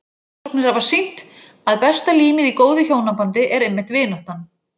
Rannsóknir hafa sýnt að besta límið í góðu hjónabandi er einmitt vináttan.